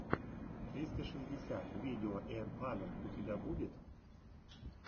тристра шестьдесят видео эйрпано у тебя будет